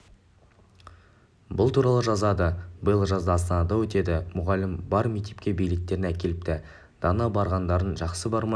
бұл туралы жазады биыл жазда астанада өтеді мұғалімі бар мектепке билеттерін әкеліпті дана барғандарың жақсы бармай